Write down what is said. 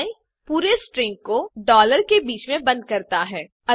उपाय पूरे स्ट्रिंग को डालर के बीच में बन्द करता है